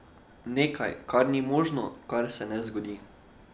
Nekaj, kar ni možno, kar se ne zgodi.